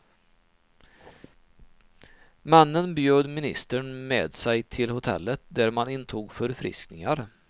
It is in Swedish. Männen bjöd ministern med sig till hotellet, där man intog förfriskningar.